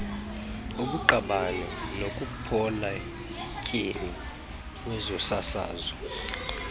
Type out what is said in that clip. kubuqabane nokopoletyeni wezosasazo